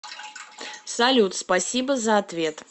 салют спасибо за ответ